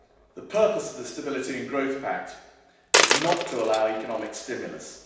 The purpose of the Stability and Growth Pact is not to allow economic stimulus.